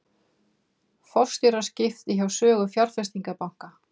Forstjóraskipti hjá Sögu fjárfestingarbanka